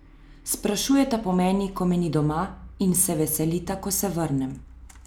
Sprašujeta po meni, ko me ni doma, in se veselita, ko se vrnem.